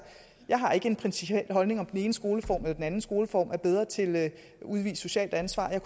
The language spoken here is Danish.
jeg har ikke en principiel holdning om hvorvidt den ene skoleform eller den anden skoleform er bedre til at udvise socialt ansvar jeg